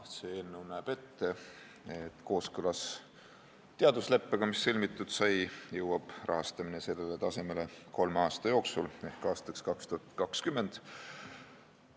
Eelnõu näeb ette, et kooskõlas sõlmitud teadusleppega jõuab rahastamine sellele tasemele kolme aasta jooksul ehk aastaks 2020.